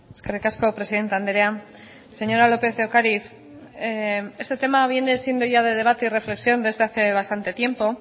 eskerrik asko presidente andrea señora lópez de ocariz este tema viene siendo ya de debate y reflexión desde hace bastante tiempo